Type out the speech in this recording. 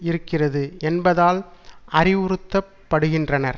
இருக்கிறது என்பதால் அறிவுறுத்தப்படுகின்றனர்